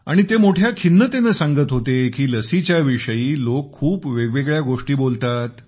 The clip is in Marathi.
आणि ते मोठ्या खिन्नतेने सांगत होते की लसीच्या विषयी लोक खूप वेगवेगळ्या गोष्टी बोलतात